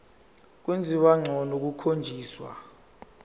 kwenziwa ngcono kukhonjiswa